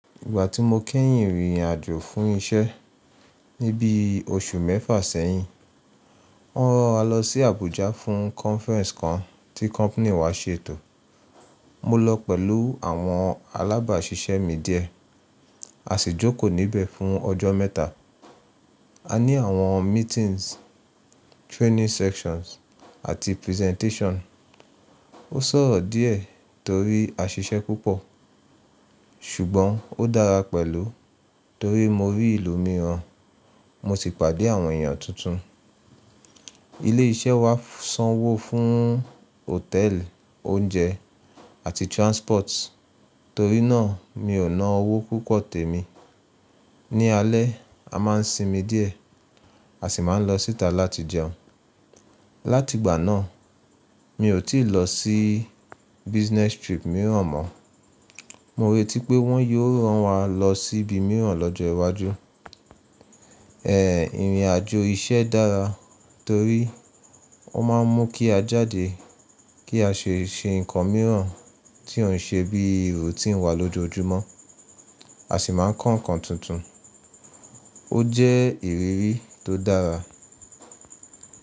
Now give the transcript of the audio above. Ìgbà tí mo kẹ́yìn rìnrìn àjò fún isẹ́ ni bí oṣù mẹ́fà sẹ́yìn. Wọ́n rán wa lọ sí Abuja fún conference kan tí company wa ṣètò. Mo lọ pẹ̀lú àwọn alábàṣiṣẹ́ mi díẹ̀. A sì jókòó níbẹ̀ fún ọjọ́ mẹ́ta. A ní àwọn meetings, training sessions àti presentation. Ó sòro díẹ̀ torí a ṣiṣẹ́ púpọ̀. Ṣùgbọ́n ó dára pẹ̀lú torí mo rí ìlú mìíràn, mo sì pàdé àwọn èèyàn tuntun. Ilé iṣẹ́ wa sanwó fún hòtẹ́ẹ̀lì, oúnjẹ àti transport, torí náà mi ò ná owó púpọ̀ tèmi. Ni alẹ́, a máa ń sinmi díẹ̀, a sì máa ń lọ síta láti jẹun. Látìgbà náà, mi ò tíì lọ sí business trip mìíràn mọ́. Mo rètí pé wọ́n yóò rán wa lọ síbi mìíràn lọ́jọ́ iwájú. Ẹ̀ẹ̀, ìrìn àjò iṣẹ́ dára torí ó máa ń mú kí a jáde kí a ṣe ṣe nǹkan mìíràn tí ò ṣe bí routine wà lójoojúmọ́, a sì máa ń kọ́ nǹkan tuntun. Ó jẹ́ ìrírí tó dára.